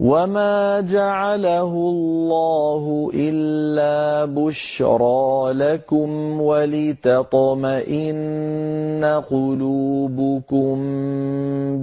وَمَا جَعَلَهُ اللَّهُ إِلَّا بُشْرَىٰ لَكُمْ وَلِتَطْمَئِنَّ قُلُوبُكُم